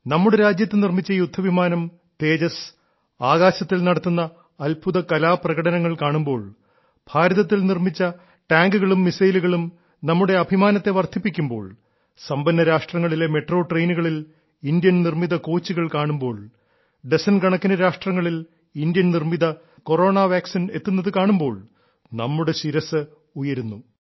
നമ്മുടെ രാജ്യത്ത് നിർമ്മിച്ച യുദ്ധവിമാനം തേജസ് ആകാശത്തിൽ നടത്തുന്ന അത്ഭുത കലാപ്രകടനങ്ങൾ കാണുമ്പോൾ ഭാരതത്തിൽ നിർമ്മിച്ച ടാങ്കുകളും മിസൈലുകളും നമ്മുടെ അഭിമാനത്തെ വർദ്ധിപ്പിക്കുമ്പോൾ സമ്പന്ന രാഷ്ട്രങ്ങളിലെ മെട്രോ ട്രെയിനുകളിൽ ഇന്ത്യൻ നിർമ്മിത കോച്ചുകൾ കാണുമ്പോൾ ഡസൻ കണക്കിനു രാഷ്ട്രങ്ങളിൽ ഇന്ത്യൻ നിർമ്മിത കൊറോണ വാക്സിൻ എത്തുന്നതു കാണുമ്പോൾ നമ്മുടെ ശിരസ്സ് ഉയരുന്നു